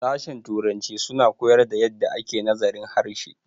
sashen Turanci suna koyar da yadda ake nazarin harshe